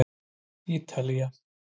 Ítalía